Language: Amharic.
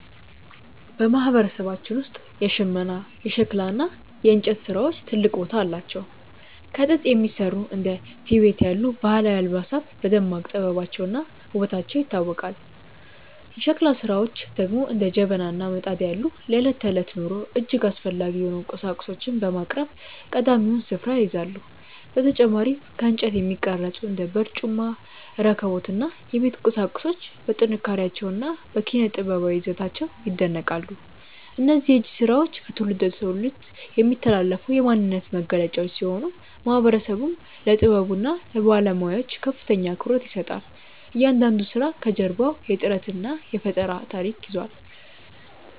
በማህበረሰባችን ውስጥ የሽመና፣ የሸክላ እና የእንጨት ስራዎች ትልቅ ቦታ አላቸው። ከጥጥ የሚሰሩ እንደ ቲቤት ያሉ ባህላዊ አልባሳት በደማቅ ጥበባቸውና ውበታቸው ይታወቃሉ። የሸክላ ስራዎች ደግሞ እንደ ጀበና እና ምጣድ ያሉ ለዕለት ተዕለት ኑሮ እጅግ አስፈላጊ የሆኑ ቁሳቁሶችን በማቅረብ ቀዳሚውን ስፍራ ይይዛሉ። በተጨማሪም ከእንጨት የሚቀረጹ እንደ በርጩማ፣ ረከቦት እና የቤት ቁሳቁሶች በጥንካሬያቸውና በኪነ-ጥበባዊ ይዘታቸው ይደነቃሉ። እነዚህ የእጅ ስራዎች ከትውልድ ወደ ትውልድ የሚተላለፉ የማንነታችን መገለጫዎች ሲሆኑ፣ ማህበረሰቡም ለጥበቡና ለባለሙያዎቹ ከፍተኛ አክብሮት ይሰጣል። እያንዳንዱ ስራ ከጀርባው የጥረትና የፈጠራ ታሪክ ይዟል።